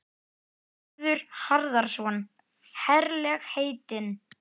Hörður Harðarson: Herlegheitin?